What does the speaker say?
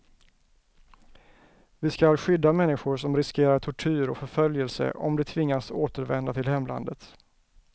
Vi skall skydda människor som riskerar tortyr och förföljelse om de tvingas återvända till hemlandet.